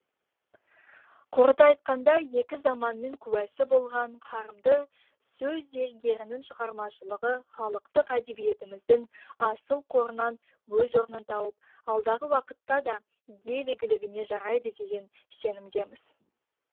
қорыта айтқанда екі заманның куәсі болған қарымды сөз зергерінің шығармашылығы халықтық әдебиетіміздің асыл қорынан өз орнын тауып алдағы уақытта да ел игілігіне жарайды деген сенімдеміз